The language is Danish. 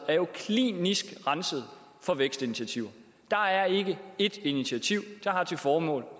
er klinisk renset for vækstinitiativer der er ikke ét initiativ der har til formål